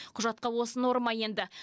құжатқа осы норма енді